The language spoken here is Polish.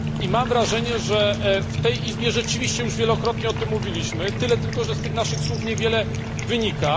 Mam wrażenie, że w tej Izbie już wielokrotnie o tym mówiliśmy, tyle tylko, że z tych naszych słów niewiele wynika.